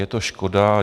Je to škoda.